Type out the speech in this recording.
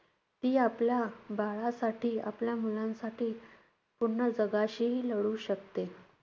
ती आपल्या बाळासाठी, आपल्या मुलांसाठी पुन्हा जगाशीही लढू शकते.